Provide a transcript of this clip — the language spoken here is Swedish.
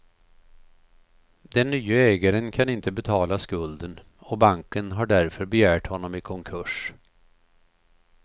Den nye ägaren kan inte betala skulden och banken har därför begärt honom i konkurs.